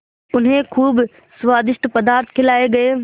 उन्हें खूब स्वादिष्ट पदार्थ खिलाये गये